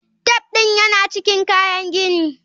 Taf ɗin yana cikin kayan gini.